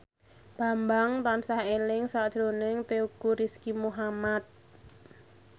Bambang tansah eling sakjroning Teuku Rizky Muhammad